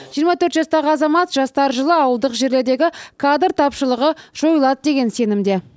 жиырма төрт жастағы азамат жастар жылы ауылдық жерлердегі кадр тапшылығы жойылады деген сенімде